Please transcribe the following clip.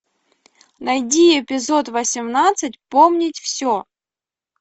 найди эпизод восемнадцать помнить все